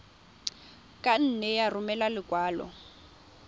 ka nne ya romela lekwalo